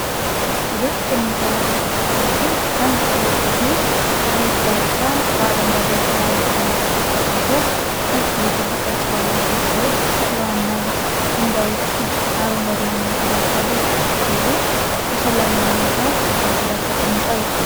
ውበት በሚንጸባረቅበት መልኩ፣ አንድ ትልቅ ሆቴል በሀይቅ ዳርቻ፣ በአረንጓዴ ተራሮችና ዛፎች ተከቦ፣ ነጭና ክብ ቅርጽ ያላቸው ሕንጻዎችና የዋና ገንዳዎች አረንጓዴ መናፈሻዎች አሉት፣ ሆቴሉ በሰላማዊ ሁኔታ በሀይቁ ዳር ተቀምጧል።